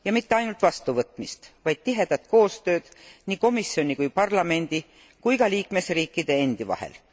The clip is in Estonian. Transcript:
Ja mitte ainult vastuvõtmist, vaid tihedat koostööd nii komisjoni ja parlamendi kui ka liikmesriikide endi vahel.